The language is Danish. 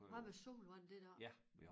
Hvad med sol hvordan det da